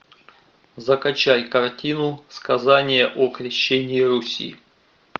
закачай картину сказание о крещении руси